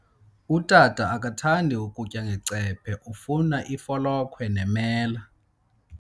Utata akathandi kutya ngecephe, ufuna ifolokhwe nemela.